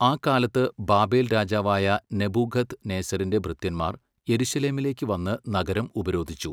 ആ കാലത്ത് ബാബേൽ രാജാവായ നെബൂഖദ് നേസരിൻ്റെ ഭൃത്യന്മാർ യെരുശലേമിലേക്ക് വന്ന് നഗരം ഉപരോധിച്ചു.